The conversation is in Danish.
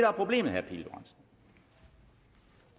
er problemet vil